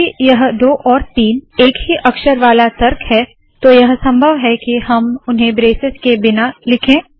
क्योंकि यह 2 और 3 एक ही अक्षर वाला तर्क है तो यह संभव है के हम उन्हें ब्रेसेस के बिना लिखे